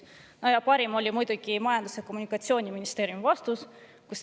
Ja parim oli muidugi Majandus- ja Kommunikatsiooniministeeriumi vastus.